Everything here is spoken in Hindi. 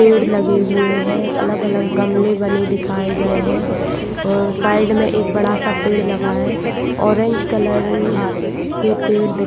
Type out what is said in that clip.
पेड़ लगे हुए है अलग अलग गमले बने दिखाये गए है और साइड में एक बड़ा सा पेड़ लगा है। ऑरेंज कलर के पेड़ दिख--